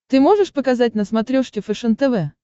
ты можешь показать на смотрешке фэшен тв